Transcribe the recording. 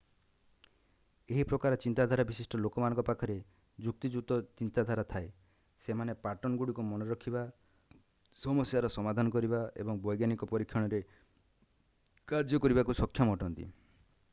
ଏହି ପ୍ରକାର ଚିନ୍ତାଧାରା ବିଶିଷ୍ଟ ଲୋକମାନଙ୍କ ପାଖରେ ଯୁକ୍ତିଯୁକ୍ତ ଚିନ୍ତାଧାରା ଥାଏ ସେମାନେ ପାଟର୍ନଗୁଡ଼ିକୁ ମନେରଖିବା ସମସ୍ୟାର ସମାଧାନ କରିବା ଏବଂ ବୈଜ୍ଞାନିକ ପରୀକ୍ଷଣରେ କାର୍ଯ୍ୟ କରିବାକୁ ସକ୍ଷମ ଅଟନ୍ତି